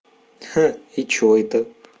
ха и что это